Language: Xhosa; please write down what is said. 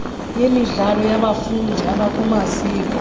yemidlalo yabafundi abakumaziko